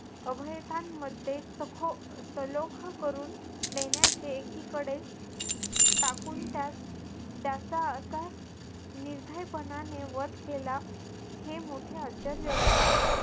अभयतांमध्ये सखो सलोख करून देण्याचे एकीकडे टाकून त्यास त्याचा असा निर्भयपणाने वध केला हे मोठे आश्चर्य होते.